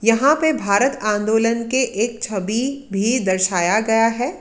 यहां पे भारत आंदोलन के एक छवि भी दर्शाया गया है।